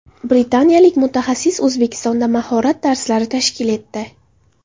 Britaniyalik mutaxassis O‘zbekistonda mahorat darslari tashkil etdi.